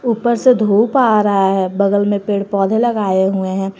ऊपर से धूप आ रहा है बगल में पेड़ पौधे लगाए हुए हैं।